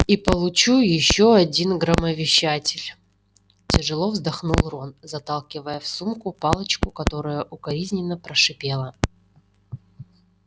и получу ещё один громовещатель тяжело вздохнул рон заталкивая в сумку палочку которая укоризненно прошипела